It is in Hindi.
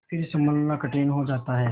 फिर सँभलना कठिन हो जाता है